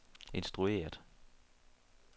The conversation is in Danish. instrueret